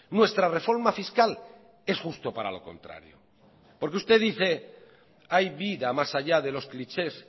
nuestra reforma fiscal es justo para lo contrario porque usted dice que hay vida más allá de los clichés